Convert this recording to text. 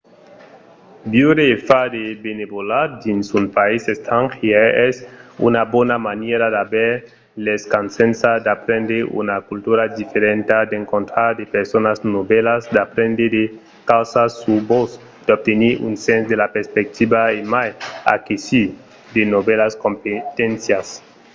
viure e far de benevolat dins un país estrangièr es una bona manièra d'aver l'escasença d'aprendre una cultura diferenta d'encontrar de personas novèlas d'aprendre de causas sus vos d'obtenir un sens de la perspectiva e mai aquesir de novèlas competéncias